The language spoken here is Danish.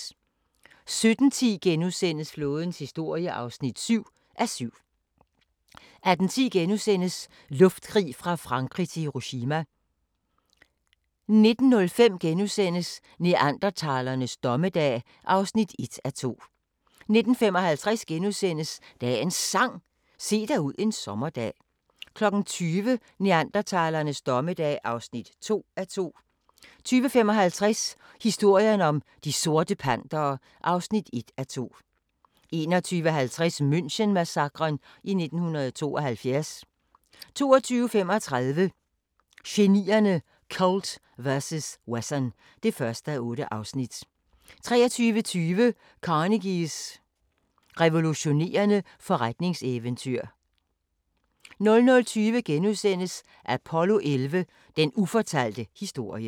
17:10: Flådens historie (7:7)* 18:10: Luftkrig fra Frankrig til Hiroshima * 19:05: Neandertalernes dommedag (1:2)* 19:55: Dagens Sang: Se dig ud en sommerdag * 20:00: Neandertalernes dommedag (2:2) 20:55: Historien om De Sorte Pantere (1:2) 21:50: München-massakren i 1972 22:35: Genierne: Colt vs. Wesson (1:8) 23:20: Carnegies revolutionerende forretningseventyr 00:20: Apollo 11: Den ufortalte historie *